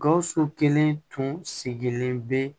Gawusu kelen tun sigilen bɛ